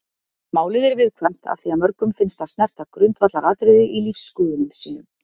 Málið er viðkvæmt af því að mörgum finnst það snerta grundvallaratriði í lífsskoðunum sínum.